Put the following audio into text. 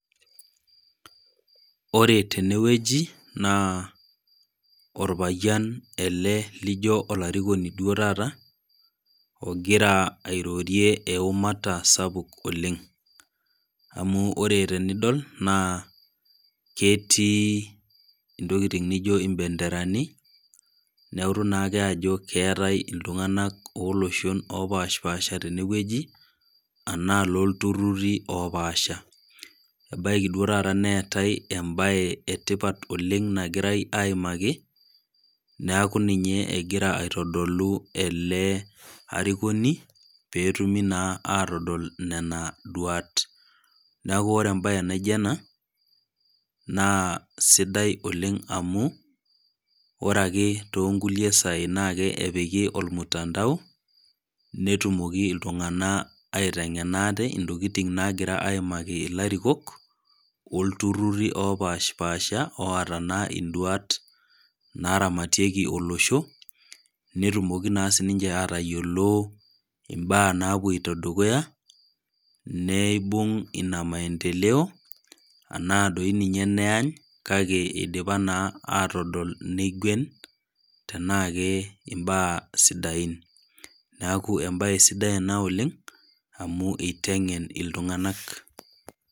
Ore tenewueji naa orpayian ele lijio olarikoni taata ogira airorie eumata sapuk oleng amu ore tenidol naa ketii ntokitin naijio bendera neutu naa ake Ajo keetae iltung'ana oloshon opashipasha tenewueli enaa eloo oltururi opasha ebaiki duo taata neetae ebae etipat oleng nagirae ayimaki neeku ninye egira aitodolu ele arikoni pee etumi naa atodol Nena duat neeku oree ambae naijio ena naa sidai oleng amu ore ake too nkulie sai naa epiki mtandao netumoki iltung'ana aiteng'ena ate ntokitin nagira ayimaki elarikok oltururi opashipasha otaa naa duat naramatieki olosho netumoki naa sininje atayiolo embaa napuoto dukuya neibung ena maendeleo enaa doi ninye neyaany kake eidipa naa atodol naa tenaa kembaa sidain neekuembae sidai ena oleng amu eiteng'en iltung'ana